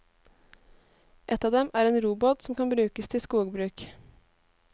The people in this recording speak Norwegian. Et av dem er en robot som kan brukes til skogbruk.